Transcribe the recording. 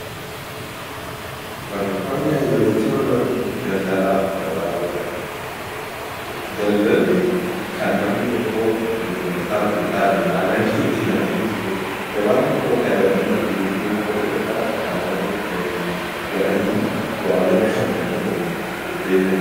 Barreeffamni asii olitti mul'atu kuni Daldalaa fi gabaa jedha. Daldalli kan namni tokko gurgurtaaf bittaatiin haala inni ittiin adeemsisu dha. Gabaan immoo bakka daldalli itti geggeeffamu yookaan bakka namoonnii itti walii galanii waa wal harkaa bitanii waliin deddeebi'ani dha.